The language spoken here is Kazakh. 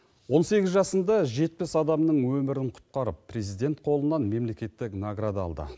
он сегіз жасында жетпіс адамның өмірін құтқарып президент қолынан мемлекеттік награда алды